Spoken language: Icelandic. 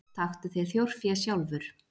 Taktu þér þjórfé sjálfur.